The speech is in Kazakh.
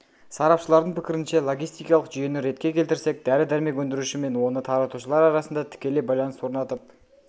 сарапшылардың пікірінше логистикалық жүйені ретке келтірсек дәрі-дәрмек өндіруші мен оны таратушылар арасында тікелей байланыс орнатып